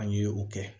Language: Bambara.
An ye o kɛ